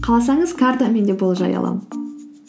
қалсаңыз картамен де болжай аламын